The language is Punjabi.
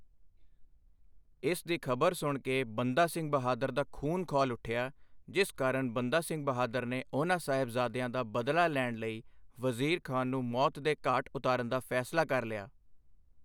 ਇਸ ਦੀ ਖਬਰ ਸੁਣ ਕੇ ਬੰਦਾ ਸਿੰਘ ਬਹਾਦਰ ਦਾ ਖੂਨ ਖੌਲ ਉੱਠਿਆ ਜਿਸ ਕਾਰਨ ਬੰਦਾ ਸਿੰਘ ਬਹਾਦਰ ਨੇ ਉਹਨਾਂ ਸਾਹਿਬਜ਼ਾਦਿਆਂ ਦਾ ਬਦਲਾ ਲੈਣ ਲਈ ਵਜ਼ੀਰ ਖ਼ਾਂ ਨੂੰ ਮੌਤ ਦੇ ਘਾਟ ਉਤਾਰਨ ਦਾ ਫੈਸਲਾ ਕਰ ਲਿਆ।